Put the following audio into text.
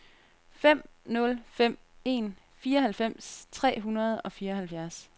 fem nul fem en fireoghalvfems tre hundrede og fireoghalvfjerds